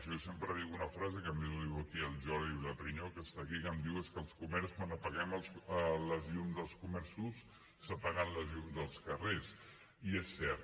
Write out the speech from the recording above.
jo sempre dic una frase que a més ho diu aquí el jordi vilaprinyó que està aquí que em diu és que als comerços quan apaguem els llums dels comerços s’apaguen els llums dels carrers i és cert